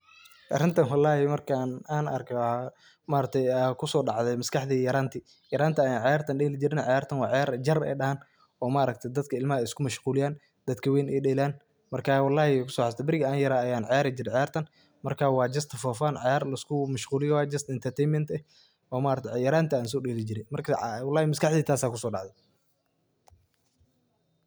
Arintan wlhi markan an arka aya maskaxdeyda kusodacde yaranti ayan ciyartan dheli jirne, ciyartan wa ciyar ey jaar ey dahan oo maaragte dadka iskumashquliyan dadka ween ey dheelan marka wlhi an kusoxasuste berigi an yara ayan ciyari jire ciyartan wana just for fun oo laiskumashquliyo just entertainment oo maaragte yaranti an sodeli jire, wlhi maskaxdeyda tasa kusodacde.